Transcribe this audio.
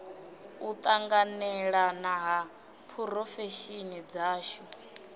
u tanganelana ha phurofesheni dzashu